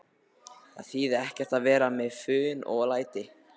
Það þýðir ekkert að vera með fum og læti.